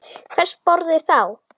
Hvers borði þá?